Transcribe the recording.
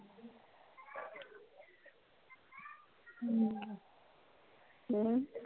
ਹਮ